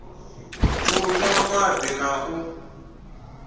u nwa madi na u